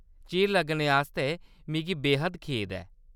चिर लग्गने आस्तै मिगी बे-हद्द खेद ऐ।